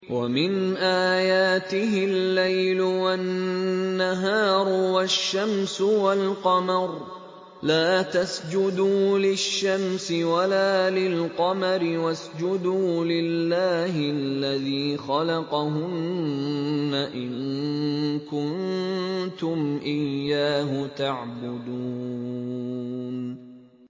وَمِنْ آيَاتِهِ اللَّيْلُ وَالنَّهَارُ وَالشَّمْسُ وَالْقَمَرُ ۚ لَا تَسْجُدُوا لِلشَّمْسِ وَلَا لِلْقَمَرِ وَاسْجُدُوا لِلَّهِ الَّذِي خَلَقَهُنَّ إِن كُنتُمْ إِيَّاهُ تَعْبُدُونَ